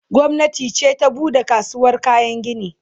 gwamnati ce ta buɗe kasuwar kayan gini